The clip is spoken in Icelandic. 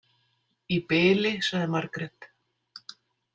Í bili, sagði Margrét.